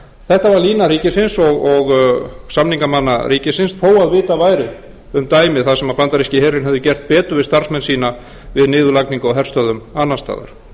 þetta var lína ríkisins og samningamanna ríkisins þó að vitað væri um dæmi þar sem bandaríski herinn hefði gert betur við starfsmenn sína við niðurlagningu á herstöðvum annars staðar við vitum hvað íslenska ríkið